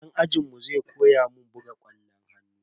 Dan ajinmu zai koya mun buga kwallon hannu.